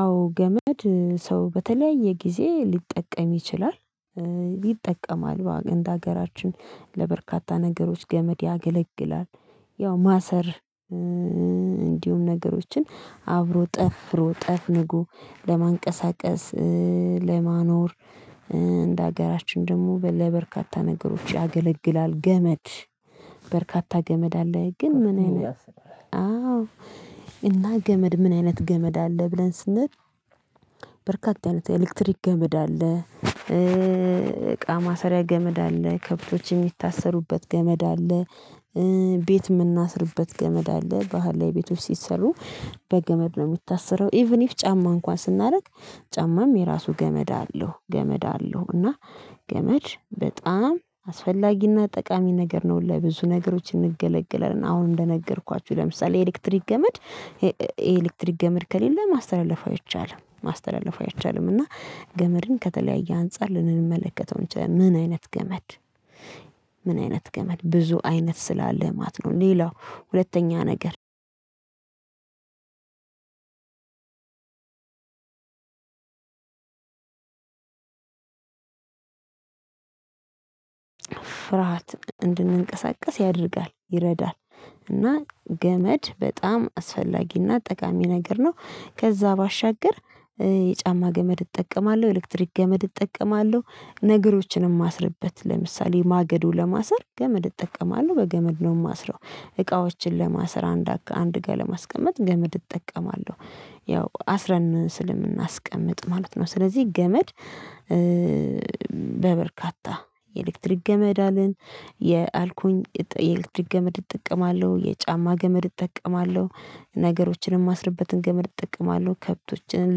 አዎ ገመድ ሰው በተለያየ ጊዜ ሊጠቀም ይችላል። ይጠቀማል በአገ እንዳገራችን ለበርካታ ነገሮች ገመድ ያገለግላል። ያው ማሰር እንዲሁም ነገሮችን አብሮ ጠፍሮ ጠፍንጎ ለማንቀሳቀስ ለማኖር። እንደ ሀገራችን ደግሞ በ ለበርካታ ነገሮች ያገለግላል ገመድ በርካታ ገመድ አለ ግን ምን አይነት? አዎ እና ገመድ ምን አይነት ገመድ አለ ብለን ስንል በርካታ አይነት ኤሌክትሪክ ገመድ አለ። እቃ ማሰሪያ ገመድ አለ ከብቶች የሚታሰሩበት ገመድ አለ። ቤት የምናስርበት ገመድ አለ ባህላዊ ቤቶች ሲሰሩ በገመድ ነው። የሚታሰረው ኢቭን ኢፍ ጫማ እንኳን ስናደርግ ጫማም የራሱ ገመድ አለው ገመድ አለው እና ገመድ በጣም አስፈላጊና ጠቃሚ ነገር ነው። ለብዙ ነገሮች እንገለገላለን አሁን እንደነገርኳችሁ ለምሳሌ ኤሌክትሪክ ገመድ የኤ ኤሌክትሪክ ገመድ ከሌለ ማስተላለፍ አይቻልም ማስተላለፍ አይቻልም። እና ገመድን ከተለያየ አንፃር ልንመለከተው እንችላለን ምን አይነት ገመድ? ምን አይነት ገመድ ብዙ አይነት ስላለ ማለት ነው። ሌላው ሁለተኛ ነገር ፍርሃት እንድንቀሳቀስ ያደርጋል ይረዳል እና ገመድ በጣም አስፈላጊና ጠቃሚ ነገር ነው። ከዛ ባሻገር የጫማ ገመድ እጠቀማለሁ ኤሌክትሪክ ገመድ እጠቀማለሁ ነገሮችን ማስርበት ለምሳሌ ማገዶ ለማሰር ገመድ እጠቀማለሁ በገመድ ነው የማስረው። እቃዎችን ለማሰር አንድ አርጋ አንድ ጋር ለማስቀመጥ ገመድ እጠቀማለሁ ያው አስረን ስለምናስቀምጥ ማለት ነው። ስለዚህ ገመድ። በበርካታ የኤሌክትሪክ ገመድ አልን የአልኩኝ የኤሌክትሪክ ገመድ እጠቀማለሁ የጫማ ገመድ እጠቀማለሁ ነገሮችንም ማስርበትን ገመድ እጠቀማለሁ። ከብቶችንም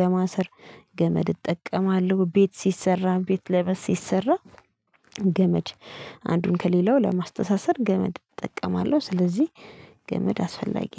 ለማሰር ገመድ እጠቀማለሁ ቤት ሲሰራ ቤት ለበስ ሲሰራ ገመድ። አንዱን ከሌላው ለማስተሳሰር ገመድ እጠቀማለሁ ስለዚህ ገመድ አስፈላጊ